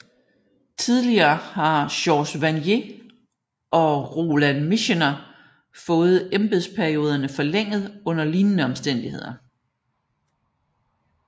Tidligere har George Vanier og Roland Michener fået embedsperioderne forlænget under lignende omstændigheder